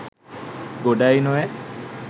ගොඩායි නොවැ?